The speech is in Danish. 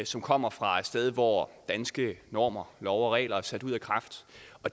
som kommer fra et sted hvor danske normer love og regler er sat ud af kraft